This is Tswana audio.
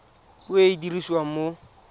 puo e e dirisiwang mo